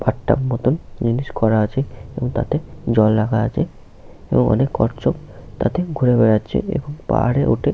bathtub মতন জিনিস করা আছে এবং তাতে জল রাখা আছে এবং অনেক কচ্ছপ তাতে ঘুরে বেড়াচ্ছে এবং পাহাড়ে উঠে --